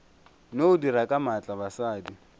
no dira ka maatla basadi